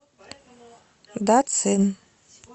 дацин